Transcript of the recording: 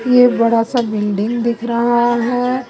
ये बड़ा सा बिल्डिंग दिख रहा है।